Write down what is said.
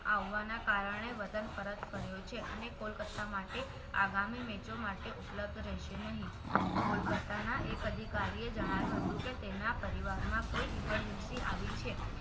આવવાના કારણે વતન પરત ફર્યો છે અને કોલકત્તા માટે આગામી મેચો માટે ઉપલબ્ધ રહેશે નહીં કોલકત્તા ના એક અધિકારીએ જણાવ્યું હતું કે તેના પરિવારમાં કોઈ emergency આવી છે